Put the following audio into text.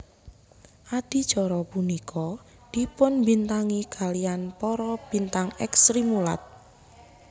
Adicara punika dipunbintangi kaliyan para bintang èks Srimulat